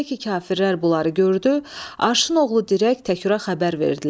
Elə ki kafirlər bunları gördü, Aşın oğlu dirək Təküra xəbər verdilər.